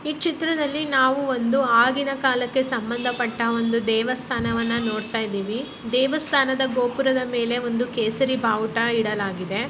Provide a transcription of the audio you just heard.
ಈ ಚಿತ್ರದಲ್ಲಿ ನಾವು ಒಂದು ಆಗಿನ ಕಾಲಕೆ ಸಂಬಂಧ ಪಟ್ಟ ಒಂದು ದೇವಸ್ಥಾನ ನೋಡಿತಾಇದಿವಿ ದೇವಸ್ಥಾನದ ಗೋಪುರದ ಮೇಲೆ ಒಂದು ಕೇಸರಿ ಬಾವುಟ ಇಡಲಾಗಿದೆ .